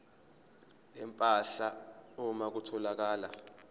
empahla uma kutholakala